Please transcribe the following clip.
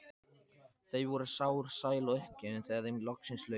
Þau voru sár, sæl og uppgefin þegar þeim loksins lauk.